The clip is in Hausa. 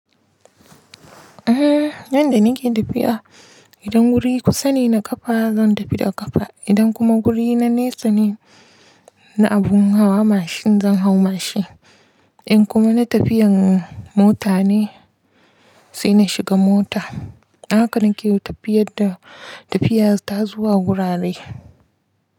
Eh, yanda nake tafiya, idan guri kusa ne na ƙafa zan tafi da ƙafa. Idan kuma guri na nesa ne, na abun hawa mashin zan hau mashin. In kuma na tafiyan mota ne, sai na shiga mota. Haka nake yi tafiyadda tafiyar ta zuwa wurare.